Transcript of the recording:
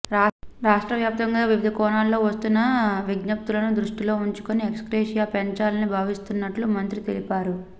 రాష్టవ్య్రాప్తంగా వివిధ కోణాల్లో వస్తున్న విజ్ఞప్తులను దృష్టిలో ఉంచుకుని ఎక్స్గ్రేషియా పెంచాలని భావిస్తున్నట్టు మంత్రి తెలిపారు